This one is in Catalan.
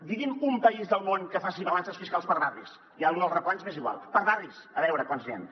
digui’m un país del món que faci balances fiscals per barris ja lo dels replans m’és igual per barris a veure quants n’hi han